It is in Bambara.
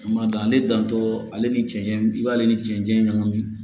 Kuma dɔ ale dantɔ ale ni cɛncɛn i b'ale ni cɛncɛn ɲagami